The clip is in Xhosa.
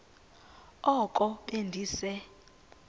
oko be ndise